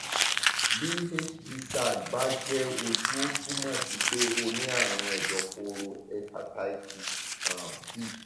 bí hbsag bá jẹ ojú ó túmọ sí pé o ní àrùn ẹdọfóró hepatitis um b